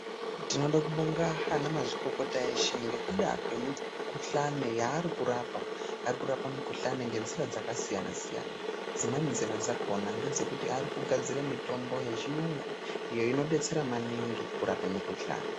Tinode anamazvikokota eshe ngekuda kwemikuhlani yaari kurapa. Ari kurapa mikuhlani ngenzira dzakasiyana siyana. Dzimweni nzira dzakona ngedzekuti ari kugadzire mitombo yechiyungu iyo inodetsera maningi kurape mikuhlane.